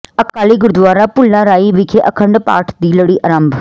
ਅਕਾਲੀ ਗੁਰਦੁਆਰਾ ਭੁੱਲਾਰਾਈ ਵਿਖੇ ਅਖੰਡ ਪਾਠ ਦੀ ਲੜੀ ਆਰੰਭ